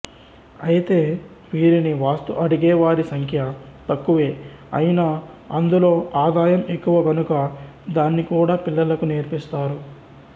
అయితే వీరిని వాస్తు అడిగేవారి సంఖ్య తక్కువే అయినా అందులో ఆదాయం ఎక్కువ కనుక దాన్ని కూడా పిల్లలకు నేర్పిస్తారు